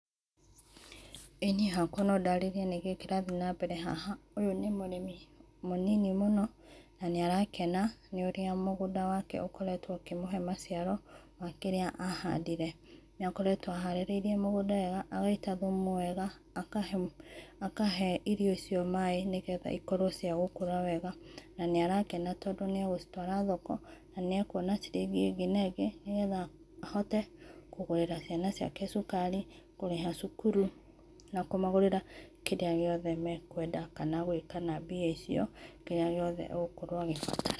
Ĩĩ niĩ hakwa no ndarĩrie nĩkĩĩ kĩrathiĩ na mbere haha ũyũ nĩ mũrĩmi mũnĩnĩ mũno na nĩ arakena nĩ ũrĩa mũgũnda wake ũkoretwo ũkĩmũhee maciaro wa kĩrĩa ahandĩre. Nĩakoretwo aharĩrĩe mũgũnda wega agaĩta thũmũ wega akahe irio icio maĩ nĩ getha ikorwo cia gũkũra wega na nĩ arakena tondũ nĩ agũcitwara thoko na nĩ akũona cirĩngĩ ĩngĩ na ĩngĩ nĩ getha, ahote kũgũrĩra ciana ciake cũkari kũrĩha cukũrũ na kũmagũrĩra kĩrĩa gĩothe mekũeenda kana gwĩka na mbĩa icio kĩrĩa gĩothe agũkorwo agĩbatara.